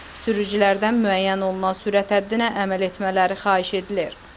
Sürücülərdən müəyyən olunan sürət həddinə əməl etmələri xahiş edilir.